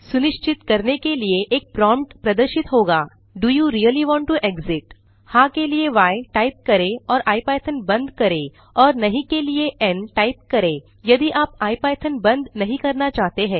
सुनिश्चित करने के लिए एक प्रोम्प्ट प्रदर्शित होगा do you really want to exit हाँ के लिए य टाइप करें और इपिथॉन बंद करें और नहीं के लिए एन टाइप करें यदि आप इपिथॉन बंद नहीं करना चाहते हैं